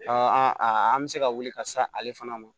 an bɛ se ka wuli ka se ale fana ma